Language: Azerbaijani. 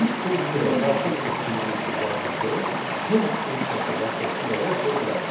Biz funksiyaya daxil etdiyimiz izahatı help funksiyası vasitəsilə də oxuya bilərik.